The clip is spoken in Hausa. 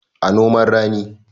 A noman rani